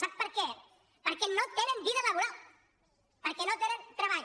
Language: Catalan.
sap per què perquè no tenen vida laboral perquè no tenen treball